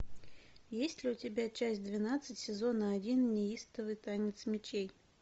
есть ли у тебя часть двенадцать сезона один неистовый танец мечей